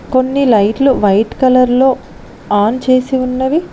కొన్ని లైట్లు white colour లో ఆన్ చేసి ఉన్నవి.